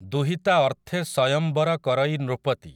ଦୁହିତା ଅର୍ଥେ ସୟଂବର କରଇ ନୃପତି ।